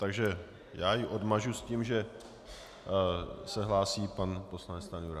Takže já ji odmažu s tím, že se hlásí pan poslanec Stanjura.